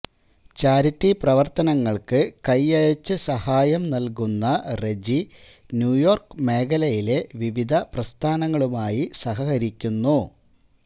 charity പ്രവ ര്ത്തനങ്ങള്ക്ക് കൈയയച്ച് സഹായം നല്കുന്ന റെജി ന്യൂയോര്ക്ക് മേഖലയിലെ വിവിധ പ്രസ്ഥാനങ്ങളുമായി സഹകരിക്കുന്നു